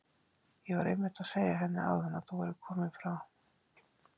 Ég var einmitt að segja henni áðan að þú værir kominn frá